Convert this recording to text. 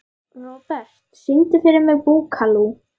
Robert, syngdu fyrir mig „Búkalú“.